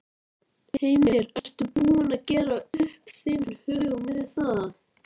Heimir: Ertu búin að gera upp þinn hug með það?